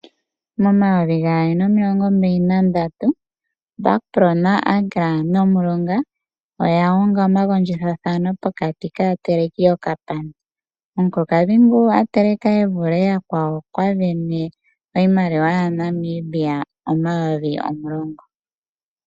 Momayovi gaali nomiilongo mbaali nandatu Bakpro naAgra nOmulonga oya gandja omathigathano pokati kaateleki yokapana. Omukulukadhi ngu a teleka e vule oyakwawo, okwa vene iimaliwa N$10000.